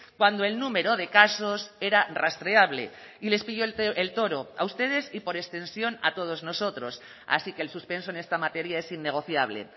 cuando el número de casos era rastreable y les pilló el toro a ustedes y por extensión a todos nosotros así que el suspenso en esta materia es innegociable